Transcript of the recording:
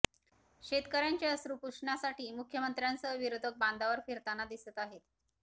शेतकर्यांचे अश्रू पुसण्यासाठी मुख्यमंत्र्यांसह विरोधक बांधांवर फिरताना दिसत आहेत